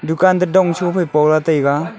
dukan to dong shofai pola taiga.